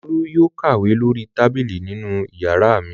Olú yóò kàwé lórí tábìlì nínú ìyàrá mi.